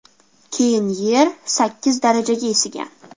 Keyin Yer sakkiz darajaga isigan.